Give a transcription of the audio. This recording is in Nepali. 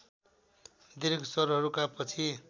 दीर्घ स्वरहरूका पछि